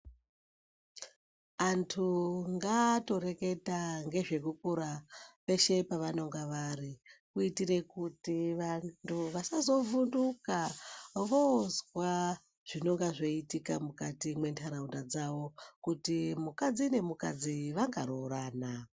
Anthu ngaatoreketa ngezvekukura peshe pevanonga vari, kuitira kuti vanthu vasazovhunduka voozwa zvinenge zveiitika mukati mentaraunda dzavo, kuti mukadzo nemukadzi vangaroorana.